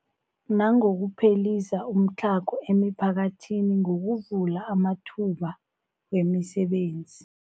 Nangokuphelisa umtlhago emiphakathini ngokuvula amathuba wemisebenzi.